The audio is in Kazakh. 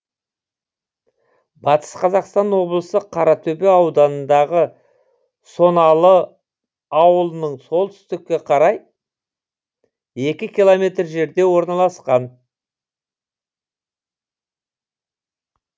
батыс қазақстан облысы қаратөбе ауданындағы соналы аулының солтүстікке қарай екі километр жерде орналасқан